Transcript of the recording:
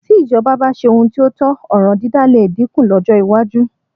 Tí ìjọba bá ṣe ohun tí ó tọ́, ọ̀ràn dídá lè dínkù lọ́jọ́ iwájú